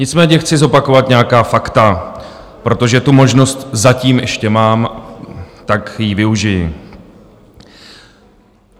Nicméně chci zopakovat nějaká fakta, protože tu možnost zatím ještě mám, tak jí využiji.